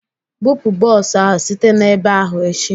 Bupụ bọs ahụ site na ebe ahụ echi!